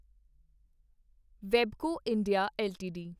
Webco India LTD